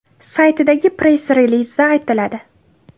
saytidagi press-relizda aytiladi .